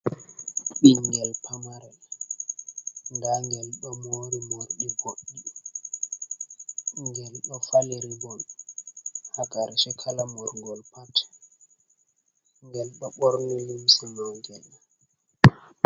Ɓingel pamarel nda ngel ɗo mori morɗi boɗɗi ngel ɗo faliri bol ha karshe kala murgol pat ngel ɗo ɓorni limse lotinga.